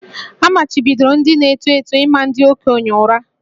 A machibidoro ndị na-eto eto ịma ndị okenye ụra